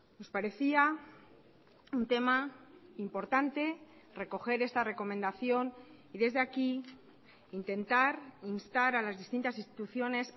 nos parecía un tema importante recoger esta recomendación y desde aquí intentar instar a las distintas instituciones